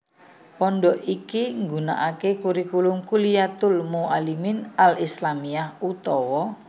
Pondhok iki nggunakaké kurikulum Kulliyatul Mu allimin Al Islamiyah utawa